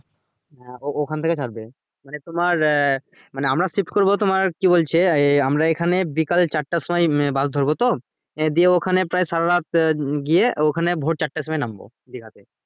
ওখান থেকে ছাড়বে মানে তোমার এ মানে আমরা shift করবো তোমার কি বলছে ইয়ে আমরা এখানে বিকাল চারটার সময় bus ধরবো তো দিয়ে ওখানে প্রায় সারা রাত গিয়ে ওখানে ভোর চারটের সময় নামবো দিঘাতে